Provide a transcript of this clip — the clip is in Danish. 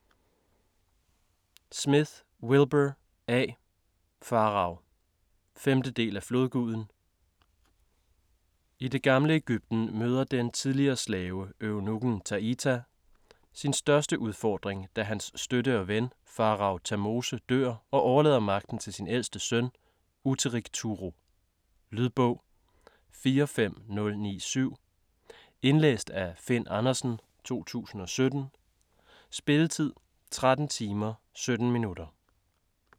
Smith, Wilbur A.: Farao 5. del af Flodguden. I det gamle Egypten møder den tidligere slave, eunukken Taita, sin største udfordring, da hans støtte og ven, faroe Tamose, dør og overlader magten til sin ældste søn, Utteric Turo. Lydbog 45097 Indlæst af Finn Andersen, 2017. Spilletid: 13 timer, 17 minutter.